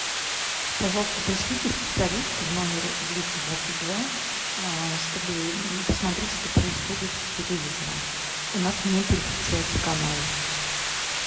пожалуйста пришлите специалиста в номер двести двадцать два чтобы посмотреть что происходит с телевизором у нас не переключаются каналы